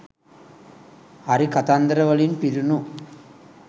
"හරි කතන්දර"වලින් පිරුණු